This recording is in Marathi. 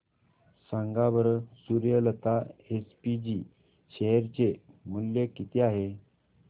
सांगा बरं सूर्यलता एसपीजी शेअर चे मूल्य किती आहे